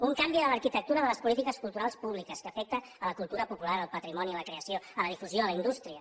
un canvi de l’arquitectura de les polítiques culturals públiques que afecta la cultura popular el patrimoni la creació la difusió la indústria